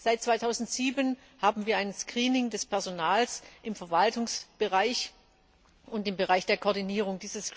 Seit 2007 haben wir ein Screening des Personals im Verwaltungsbereich und im Bereich der Koordinierung.